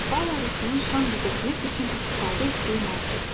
Bal arısının şan düzəltmək üçün istifadə etdiyi maddə.